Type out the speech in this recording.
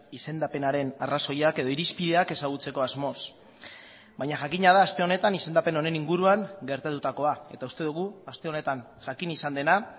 izendapenaren arrazoiak edo irizpideak ezagutzeko asmoz baina jakina da aste honetan izendapen honen inguruan gertatutakoa eta uste dugu aste honetan jakin izan dena